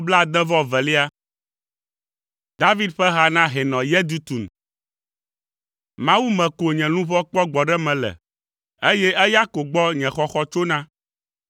David ƒe ha na Hɛnɔ Yedutun. Mawu me ko nye luʋɔ kpɔ gbɔɖeme le, eye eya ko gbɔ nye xɔxɔ tsona.